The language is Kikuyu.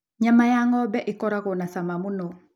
Nyama ya ng'ombe ĩkoragwo na cama mũno.